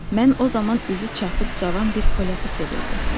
Mən o zaman üzü çapıq cavan bir polyakı sevirdim.